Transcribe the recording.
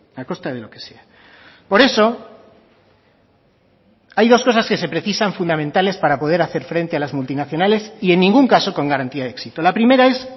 a costa de lo que sea por eso hay dos cosas que se precisan fundamentales para poder hacer frente a las multinacionales y en ningún caso con garantía de éxito la primera es